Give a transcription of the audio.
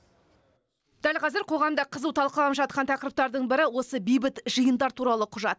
дәл қазір қоғамда қызу талқыланып жатқан тақырыптардың бірі осы бейбіт жиындар туралы құжат